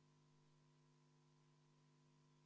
Palun võtta seisukoht ja hääletada!